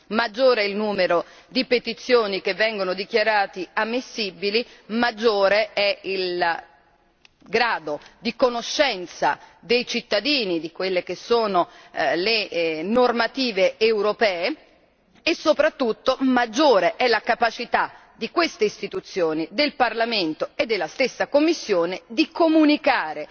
Maggiore è il numero di petizioni che vengono dichiarate ammissibili, maggiore è il grado di conoscenza dei cittadini di quelle che sono le normative europee e soprattutto maggiore è la capacità di queste istituzioni, del Parlamento e della Commissione, di comunicare